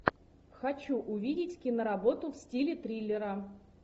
хочу увидеть киноработу в стиле триллера